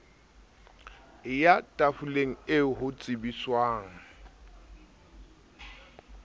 eya tafoleng eo ho tsebiswang